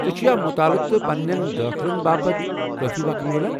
ژے٘ چُھیا مُطالعہٕ تہٕ پنین دٲخلن باپت كٲفی وخ میلان ؟